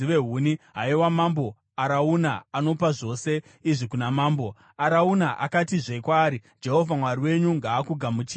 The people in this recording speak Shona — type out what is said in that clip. Haiwa mambo, Arauna anopa zvose izvi kuna mambo.” Arauna akatizve kwaari, “Jehovha Mwari wenyu ngaakugamuchirei.”